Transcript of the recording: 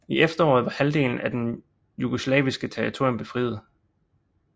I efteråret var halvdelen af det jugoslaviske territorium befriet